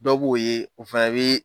Dɔ b'o ye o fɛnɛ bi